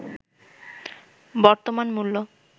বর্তমান মূল্য